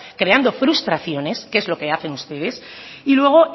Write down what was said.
creando frustraciones que es lo que hacen ustedes y luego